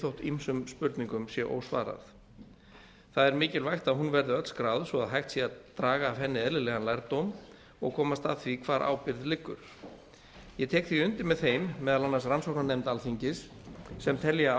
þótt ýmsum spurningum sé ósvarað það er mikilvægt að hún verði öll skráð svo að hægt sé að draga af henni eðlilegan lærdóm og komast að því hvar ábyrgð liggur ég tek því undir með þeim meðal annars rannsóknarnefnd alþingis sem telja